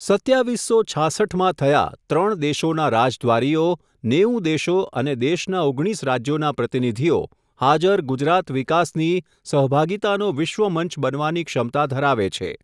સત્યાવિસ્સો છાસઠ માં થયા, ત્રણ દેશોના રાજદ્વારીઓ, નેવું દેશો અને દેશના ઓગણીસ રાજયોના પ્રતિનિધિઓ, હાજર ગુજરાત વિકાસની, સહભાગીતાનો વિશ્વમંચ બનવાની ક્ષમતા ધરાવે છે.